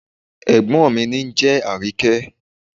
Ègbón mí ni ónjẹ́ Àríkẹ́